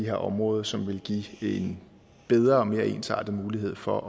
her område som ville give en bedre og mere ensartet mulighed for